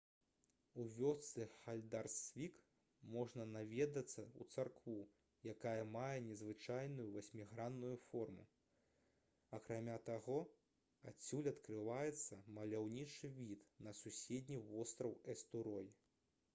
у вёсцы хальдарсвік можна наведацца ў царкву якая мае незвычайную васьмігранную форму акрамя таго адсюль адкрываецца маляўнічы від на суседні востраў эстурой